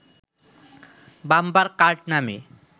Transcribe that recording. bumper card নামে